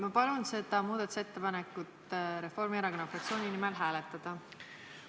Ma palun Reformierakonna fraktsiooni nimel seda muudatusettepanekut hääletada!